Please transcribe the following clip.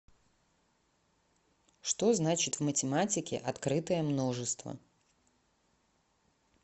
что значит в математике открытое множество